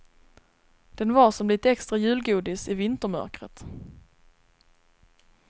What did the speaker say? Den var som lite extra julgodis i vintermörkret.